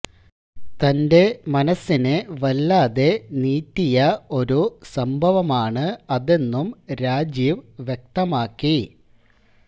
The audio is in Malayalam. തന്റെ മനസ്സിനെ വല്ലാതെ നീറ്റിയ ഒരു സംഭവമാണ് അതെന്നും രാജീവ് വ്യക്തമാക്കി